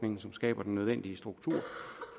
som skaber den nødvendige struktur